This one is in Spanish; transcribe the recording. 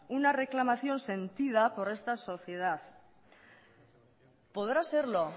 una reclamación sentida por esta sociedad podrá serlo